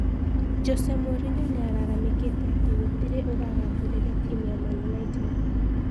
Jose Mourinho niararamikite ati gũtirĩ ũragathĩriria timu ya Man United